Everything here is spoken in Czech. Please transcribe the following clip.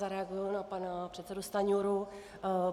Zareaguji na pana předsedu Stanjuru.